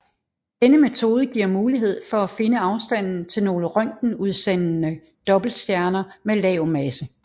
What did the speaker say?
Denne metode giver mulighed for at finde afstanden til nogle røntgenudsendende dobbeltstjerner med lav masse